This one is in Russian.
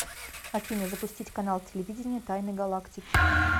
афина запустить канал телевидения тайны галактики